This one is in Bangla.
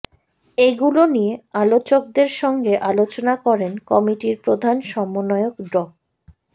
এগুলো নিয়ে আলোচকদের সঙ্গে আলোচনা করেন কমিটির প্রধান সমন্বয়ক ড